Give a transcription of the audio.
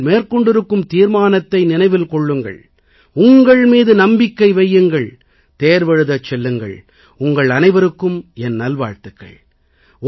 நீங்கள் மேற்கொண்டிருக்கும் தீர்மானத்தை நினைவில் கொள்ளுங்கள் உங்கள் மீது நம்பிக்கை வையுங்கள் தேர்வெழுதச் செல்லுங்கள் உங்கள் அனைவருக்கும் என் நல்வாழ்த்துக்கள்